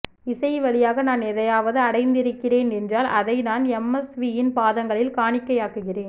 இசைவழியாக நான் எதையாவது அடைந்திருக்கிறேன் என்றால் அதை நான் எம் எஸ் வியின் பாதங்களில் காணிக்கையாக்குகிறேன்